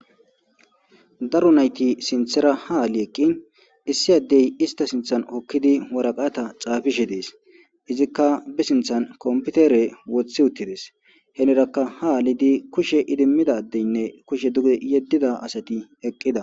Daro nayti sinththwta ha aali eaqin issi addey istta sinththan hookidii waraqata xaafishe dees izikka be sinthan kompitere wothi uttides henirakka ha aalidi kushe iddimida addeynne kushe duge yedida asati eqida